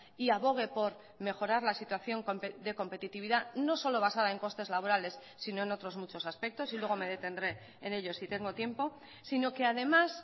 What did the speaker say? y abogue por mejorar la situación de competitividad no solo basada en costes laborales sino en otros muchos aspectos y luego me detendré en ellos si tengo tiempo sino que además